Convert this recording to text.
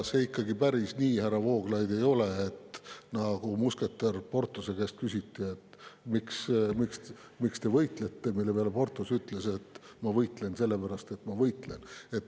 See ikkagi päris nii, härra Vooglaid, ei ole, et nagu musketär Porthose käest küsiti, et miks te võitlete, mille peale Porthos ütles, et ma võitlen sellepärast, et ma võitlen.